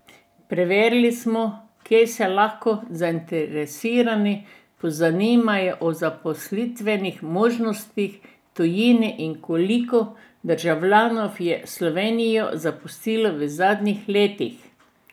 Preverili smo, kje se lahko zainteresirani pozanimajo o zaposlitvenih možnostih v tujini in koliko državljanov je Slovenijo zapustilo v zadnjih letih.